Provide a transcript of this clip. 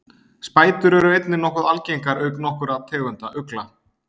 Spætur eru einnig nokkuð algengar auk nokkurra tegunda ugla.